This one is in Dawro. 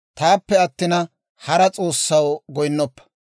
«Taappe attina, hara s'oossaw goynnoppa.